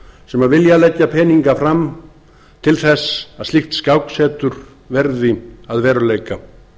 sem vilja leggja peninga fram til þess að slíkt skáksetur verði að veruleika